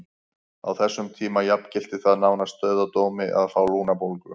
Á þessum tíma jafngilti það nánast dauðadómi að fá lungnabólgu.